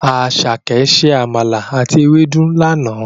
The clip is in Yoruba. Àsàké se àmàlà àti ewédú lana.